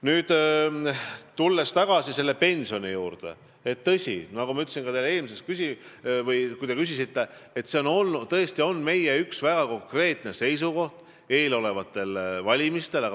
Nüüd tulen tagasi pensionite juurde, mille kohta te küsisite ja mille kohta on meil tõesti üks väga konkreetne seisukoht eelolevatel valimistel.